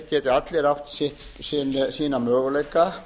geti allir átt sína möguleika